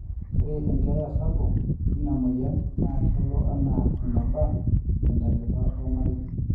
ore enkeeya sapuk ina moyian naa kelo anaa eneba te ntalipa ormarei